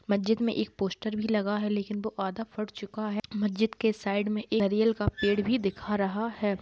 मस्जिद में एक पोस्टर भी लगा है लेकिन वो आधा फट चूका है मस्जिद के साइड में एक नारियल का पेड़ भी दिखा रहा है।